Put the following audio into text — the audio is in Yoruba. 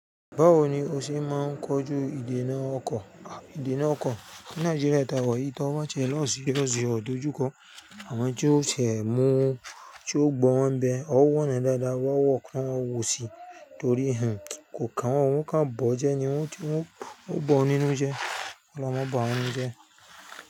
Báwo ni ó ṣe máa ń kojú ìdènà ọkọ̀? À, ìdènà ọkọ̀ ní Nàìjíríà ta wa yii, tọ́ ba ti ẹ lọ́ serious ọ̀ dojú ko Àwọn tí ó ti ẹ́ múu tí ó gbọ́n wọ́n bẹ, ọwọ́ wọn dáadáa wọ́kọ́ láwọ̀ síi torí hún, kò kàwọn ohun kan bọ́ jẹ́ ní wọ́n tí wọ́n bọ́ nínú jẹ́. Ọ̀loun máa bawa nu jẹ́.